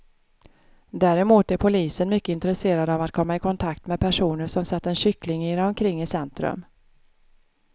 Däremot är polisen mycket intresserad av att komma i kontakt med personer som sett en kyckling irra omkring i centrum.